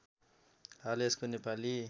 हाल यसको नेपाली